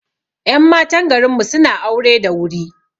Ƴan matan garinmu suna aure da wuri